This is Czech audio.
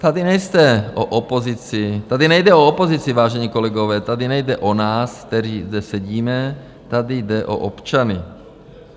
Tady nejde o opozici, vážení kolegové, tady nejde o nás, kteří zde sedíme, tady jde o občany.